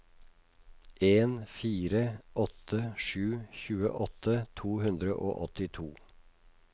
en fire åtte sju tjueåtte to hundre og åttito